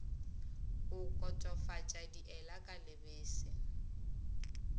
go kotofatša diela ka lebese